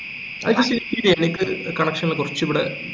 അത് എനിക്ക് connection ഉള്ള കൊർച് ഇവിടെ